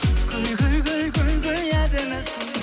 гүл гүл гүл гүл гүл гүл әдемісің